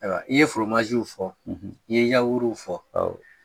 I ye fɔ i ye yawuruw fɔ